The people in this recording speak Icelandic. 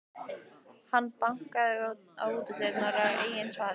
Hann bankaði á útidyrnar, en enginn svaraði.